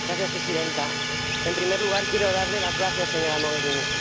Señora Presidenta, en primer lugar, quiero darle las gracias, señora Mogherini.